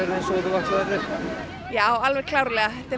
eins og þú ætlaðir þér já alveg klárlega þetta er